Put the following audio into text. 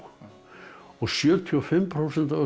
og sjötíu og fimm prósent af öllum